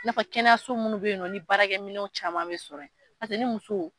I n'a fɔ kɛnyaso munnu bɛ yen nɔ ni baarakɛminɛ caman bɛ sɔrɔ yen, pase ni muso.